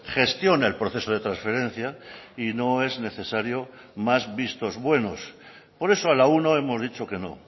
gestiona el proceso de transferencia y no es necesario más vistos buenos por eso a la uno hemos dicho que no